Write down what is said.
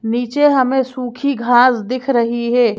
नीचे हमें सूखी घास दिख रही है।